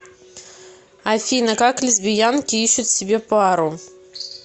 афина как лесбиянки ищут себе пару